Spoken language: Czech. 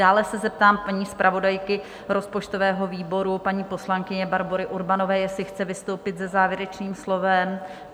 Dále se zeptám paní zpravodajky rozpočtového výboru, paní poslankyně Barbory Urbanové, jestli chce vystoupit se závěrečným slovem?